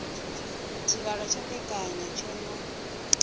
tshivhalo tsha mbekanya tsho no